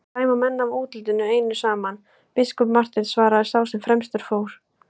Ekki dæma menn af útlitinu einu saman, biskup Marteinn, svaraði sá sem fremstur fór.